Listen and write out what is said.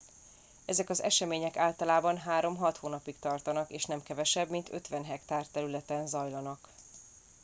ezek az események általában három hat hónapig tartanak és nem kevesebb mint 50 hektár területen zajlanak